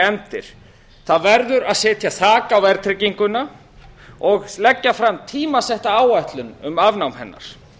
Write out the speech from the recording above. efndir það verður að setja þak á verðtrygginguna og leggja fram tímasetta áætlun um nám hennar